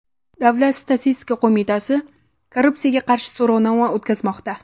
Davlat statistika qo‘mitasi korrupsiyaga qarshi so‘rovnoma o‘tkazmoqda .